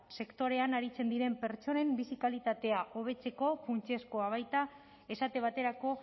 sektorean aritzen diren pertsonen bizi kalitatea hobetzeko funtsezkoa baita esate baterako